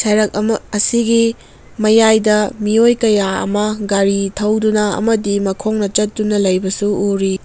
ꯂꯩꯌꯛ ꯑꯃ ꯑꯁꯤꯒꯤ ꯃꯌꯥꯢꯗ ꯃꯤꯌꯣꯢ ꯀꯌꯥ ꯑꯃ ꯒꯔꯤ ꯊꯧꯗꯨꯅ ꯑꯃꯗꯤ ꯃꯈꯣꯡꯅ ꯆꯠꯇꯨꯅ ꯂꯩꯕꯁꯨ ꯎꯔꯤ꯫